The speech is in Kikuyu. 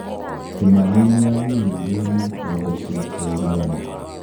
Kĩmani nĩagũmĩirũo nĩ thitango cia ũragani